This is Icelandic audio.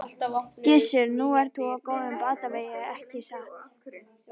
Gissur: Nú ert þú á góðum batavegi ekki satt?